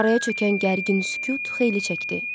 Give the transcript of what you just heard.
Araya çökən gərgin sükut xeyli çəkdi.